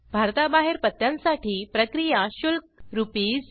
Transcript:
भारताबाहेर पत्त्यांसाठी प्रक्रिया शुल्क आरएस